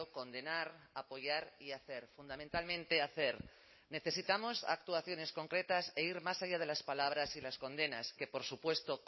condenar apoyar y hacer fundamentalmente hacer necesitamos actuaciones concretas e ir más allá de las palabras y las condenas que por supuesto